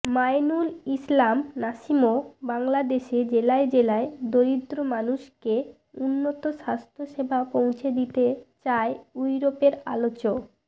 মাঈনুল ইসলাম নাসিমঃ বাংলাদেশে জেলায় জেলায় দরিদ্র মানুষকে উন্নত স্বাস্থ্যসেবা পৌঁছে দিতে চায় ইউরোপের আলোচ